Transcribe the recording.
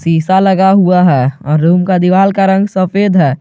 शीशा लगा हुआ है और रूम का दीवाल का रंग सफेद है।